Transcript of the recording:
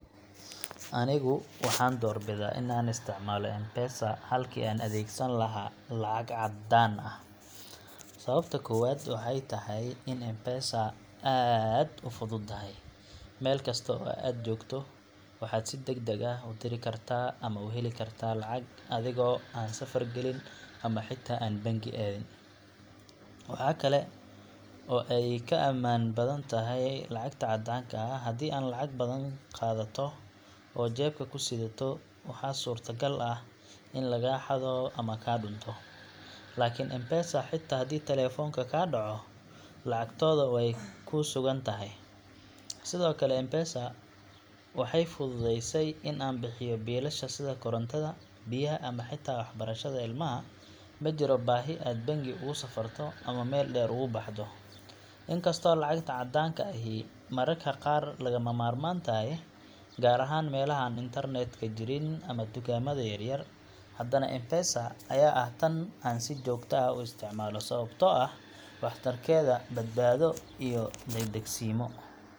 Anigu waxan door bidah ina isticmaloh mpesa halki an adagdani lahay, lacag cadan ah, sawabto gowad waxay tahay in mpesa aad ufudutahay, mal kaasto oo ad jogtah waxaa si dag dag ah udirkartah ama uhali kartah lacag adigo ad safar galin, ama xita ama banki adin, wax kle oo adiga aman badantahay lacagta cadanka ah hadii ad lacag badan qadatoh, oo jabka ku siritadoh waxaa suwrta gal ah in laga hadoh ama ka duntoh, lkn mpesa hatah hadii talafonka laga daco lacagtoda way ku sugantahay, sida okle mpesa, waxay fududysah an an bixiyoh bilasha sidaa gorontada biyah hata waxbarashada ilmaha, majiro baxi banki ad ogu safrtoh ama mal dar ubahdoh, in kaastoh lacagta cadanka ay hin marka qar laga marman tahay, gar ah han internetka jin ama tugamada yar yar, hadanah mpesa aya ah tan sii jogtah ah usticmaloh sawabto ah, wax tarkada waa baad bado iyo dag dag simo.